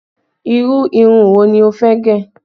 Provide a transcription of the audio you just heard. Irú irun wo ni ó fẹ́ gẹ̀?